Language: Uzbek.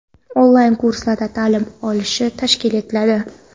onlayn kurslarda taʼlim olishi tashkil etiladi.